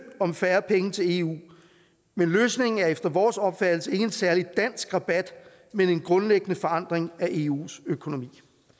om færre penge til eu men løsningen er efter vores opfattelse ikke en særlig dansk rabat men en grundlæggende forandring af eus økonomi